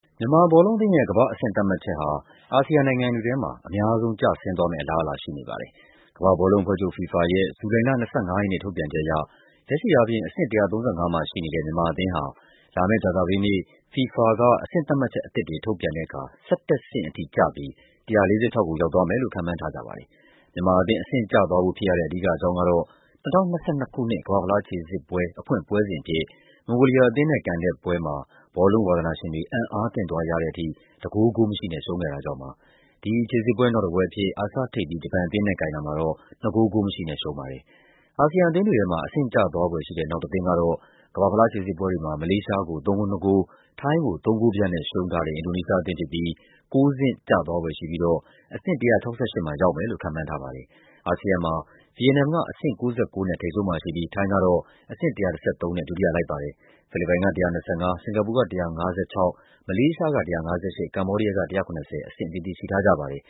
မြန်မာဘောလုံးအသင်းရဲ့ ကမ္ဘာ့အဆင့်သတ်မှတ်ချက်ဟာ အာဆီယံနိုင်ငံတွေထဲမှာ အများဆုံးကျဆင်းသွားမယ့် အလားအလာ ရှိနေပါတယ်။ ကမ္ဘာ့ဘောလုံးအဖွဲ့ချုပ် FIFA ရဲ့ ဇူလိုင်လ ၂၅ ရက်နေ့ ထုတ်ပြန်ချက်အရ လက်ရှိအားဖြင့် အဆင့် ၁၃၅ မှာရှိနေတဲ့ မြန်မာ အသင်းဟာ လာမယ့်ကြာသပတေးနေ့မှာ FIFA က အဆင့်သတ်မှတ်ချက်အသစ်တွေ ထုတ်ပြန်တဲ့အခါ ၁၁ ဆင့်ထိကျပြီး ၁၄၆ ကို ရောက်သွားမယ်လို့ ခန့်မှန်းထားကြပါတယ်။ မြန်မာအသင်း အဆင့်ကျသွားဖို့ဖြစ်ရတဲ့ အဓိကအကြောင်းကတော့ ၂၀၂၂ ခုနှစ် ကမ္ဘာ့ဖလားခြေစစ်ပွဲ အဖွင့်ပွဲစဉ်အဖြစ် မွန်ဂိုလီးယားအသင်းနဲ့ကန်တဲ့ပွဲမှာ ဘောလုံးဝါသနာရှင်တွေ အံ့အားသင့်သွားရတဲ့ထိ ၁ ဂိုး ဂိုးမရှိနဲ့ ရှုံးခဲ့တာကြောင့်ပါ။ ဒီခြေစစ်ပွဲ နောက်တပွဲအဖြစ် အာရှထိပ်သီး ဂျပန်အသင်းနဲ့ ကန်တာမှာတော့ နှစ် ဂိုး ဂိုးမရှိနဲ့ ရှုံးခဲ့ပါတယ်။ အာဆီယံအသင်းတွေထဲမှာ အဆင့်ကျသွားဖွယ်ရှိတဲ့ နောက်တသင်းကတော့ ကမ္ဘာ့ဖလားခြေစစ်ပွဲတွေမှာ မလေးရှားကို ၃ ဂိုး ၂ ဂိုး ထိုင်းကို ၃ ဂိုးပြတ်နဲ့ ရှုံးထားတဲ့ အင်ဒိုနီးရှားအသင်းဖြစ်ပြီး ၉ ဆင့်ကျသွားဖွယ်ရှိပြီးတော့ အဆင့် ၁၆၈ မှာ ရောက်မယ်လို့ ခန့်မှန်းထားပါတယ်။ အာဆီယံမှာ ဗီယက်နမ်က အဆင့် ၉၉ နဲ့ ထိပ်ဆုံးမှာရှိပြီး ထိုင်းကတော့ အဆင့် ၁၁၃ နဲ့ ဒုတိယလိုက်ပါတယ်။ ဖိလစ်ပိုင်က ၁၂၅၊ စင်္ကာပူက ၁၅၆၊ မလေးရှားက ၁၅၈၊ ကမ္ဘောဒီးယားက ၁၇၀ အဆင့်အသီးသီး ရှိထားကြပါတယ်